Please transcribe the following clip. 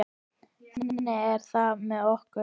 Þannig er það með okkur.